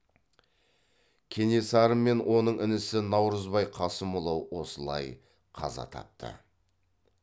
кенесары мен оның інісі наурызбай қасымұлы осылай қаза тапты